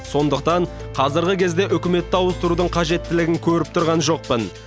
сондықтан қазіргі кезде үкіметті ауыстырудың қажеттілігін көріп тұрған жоқпын